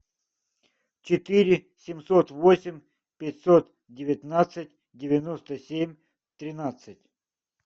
четыре семьсот восемь пятьсот девятнадцать девяносто семь тринадцать